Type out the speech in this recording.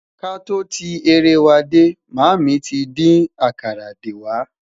k'a tọ tí eré wà dé, mami tí dín àkàrà dé wà